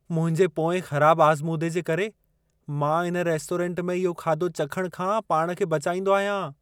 मुंहिंजे पोएं ख़राब आज़मूदे जे करे, मां इन रेस्टोरेंट में इहो खाधो चखण खां पाण खे बचाईंदो आहियां।